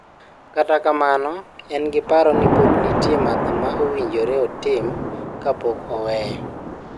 Kata kamano en giparo ni pod nitie matho ma owinjore otim kapok oweyo .